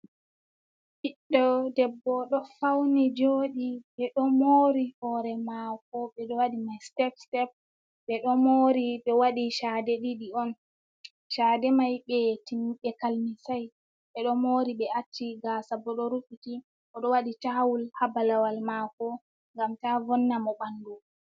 Ɓiɗɗo debbo ɗo fawni jooɗi, ɓe ɗo moori hoore maako, be o waɗi may sitep-sitep ɓe ɗo moori ɓe waɗi caade ɗiɗi on, caade may ɓe kalmisay, ɓe ɗo moori ɓe acci gaasa, bo ɗo rufiti, o ɗo waɗi caawul haa balawal maako, ngam taa vonna mo ɓanndu.